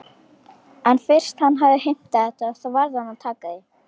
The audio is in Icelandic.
En fyrst hann hafði heimtað þetta þá varð að taka því.